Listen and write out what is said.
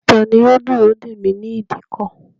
Tani yóò dúró dèmí ni ìdíkọ̀?